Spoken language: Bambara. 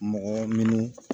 Mɔgɔ minnu